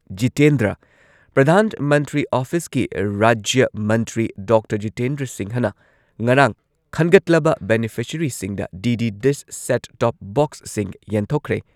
ꯖꯤꯇꯦꯟꯗ꯭ꯔ ꯄ꯭ꯔꯙꯥꯟ ꯃꯟꯇ꯭ꯔꯤ ꯑꯣꯐꯤꯁꯀꯤ ꯔꯥꯖ꯭ꯌ ꯃꯟꯇ꯭ꯔꯤ ꯗꯣꯛꯇꯔ ꯖꯤꯇꯦꯟꯗ꯭ꯔ ꯁꯤꯡꯍꯅ ꯉꯔꯥꯡ ꯈꯟꯒꯠꯂꯕ ꯕꯦꯅꯤꯐꯤꯁꯔꯤꯁꯤꯡꯗ ꯗꯤ.ꯗꯤ ꯗꯤꯁ ꯁꯦꯠ ꯇꯣꯞ ꯕꯣꯛꯁꯁꯤꯡ ꯌꯦꯟꯊꯣꯛꯈ꯭ꯔꯦ ꯫